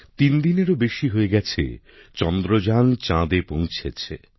তিন দিনেরও বেশি হয়ে গেছে চন্দ্রযান চাঁদে পৌঁছেছে